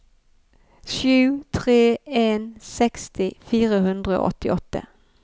sju tre en en seksti fire hundre og åttiåtte